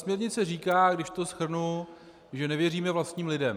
Směrnice říká, když to shrnu, že nevěříme vlastním lidem.